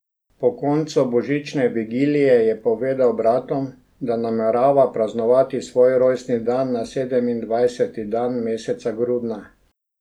Po koncu božične vigilije je povedal bratom, da namerava praznovati svoj rojstni dan na sedemindvajseti dan meseca grudna.